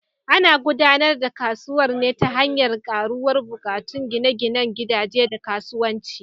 Ana gudanar da kasuwar ne ta hanyar karuwar buƙatun gine-ginen gidaje da kasuwanci.